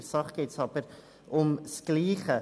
In der Sache geht es aber um dasselbe.